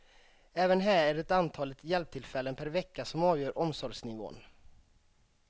Även här är det antalet hjälptillfällen per vecka som avgör omsorgsnivån.